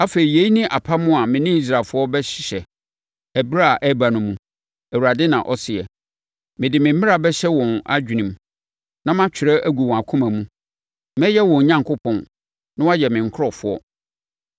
Afei, yei ne apam a me ne Israelfoɔ bɛhyehyɛ ɛberɛ a ɛreba no mu, Awurade na ɔseɛ: Mede me mmara bɛhyɛ wɔn adwenem na matwerɛ agu wɔn akoma mu. Mɛyɛ wɔn Onyankopɔn, na wɔayɛ me nkurɔfoɔ.